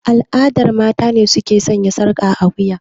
A al'adance mata ne su ke sanya sarƙa a wiya.